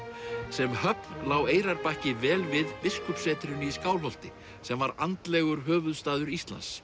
sem höfn lá Eyrarbakki vel við biskupssetrinu í Skálholti sem var andlegur höfuðstaður Íslands